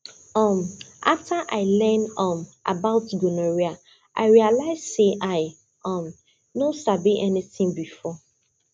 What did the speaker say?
um after i learn um about gonorrhea i realize say i um no sabi anything before